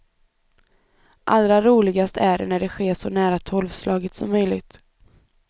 Allra roligast är när det sker så nära tolvslaget som möjligt.